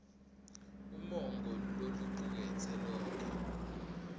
umongo locuketse konkhe